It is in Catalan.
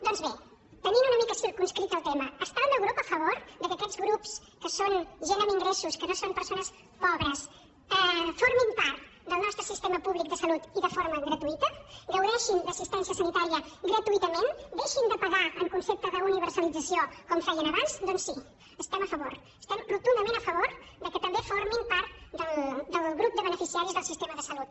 doncs bé tenint una mica circumscrit el tema està el meu grup a favor que aquests grups que són gent amb ingressos que no són persones pobres formin part del nostre sistema públic de salut i de forma gratuïta gaudeixin d’assistència sanitària gratuïtament deixin de pagar en concepte d’universalització com feien abans doncs sí hi estem a favor estem rotundament a favor que també formin part del grup de beneficiaris del sistema de salut